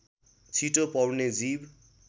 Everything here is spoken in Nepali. छिटो पौड्ने जीव